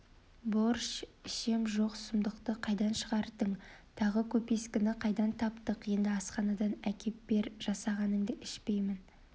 борщ ішем жоқ сұмдықты қайдан шығардың тағы көпескені қайдан таптық енді асханадан әкеп бер жасағанынды ішпеймін